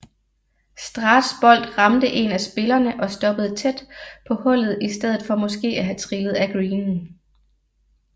Straths bold ramte en af spillerne og stoppede tæt på hullet i stedet for måske at have trillet af greenen